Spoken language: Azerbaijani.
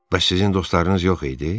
Bəs sizin dostlarınız yox idi?